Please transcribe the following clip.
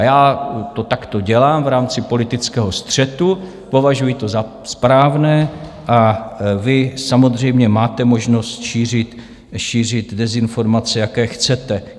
A já to takto dělám v rámci politického střetu, považuji to za správné a vy samozřejmě máte možnost šířit dezinformace, jaké chcete.